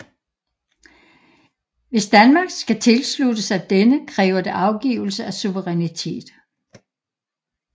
Hvis Danmark skal tilslutte sig denne kræver det afgivelse af suverænitet